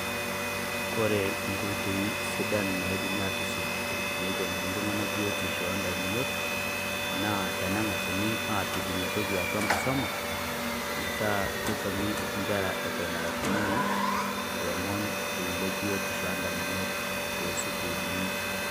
Kore nkoitoi sidaan naidimi atusuuj tene teng'ene iltung'ana biotisho e damunot, naa tenegaasini apiik enya ntoki atua nkisoma. Petaa keisomi nkerra ewuen era nkuititi loomon le biotisho edamunot to suukulini.